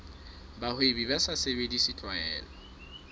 bahwebi ba sa sebedise tlwaelo